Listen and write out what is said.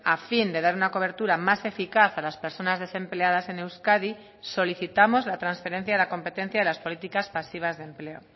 a fin de dar una cobertura más eficaz a las personas desempleadas en euskadi solicitamos la transferencia de la competencia de las políticas pasivas de empleo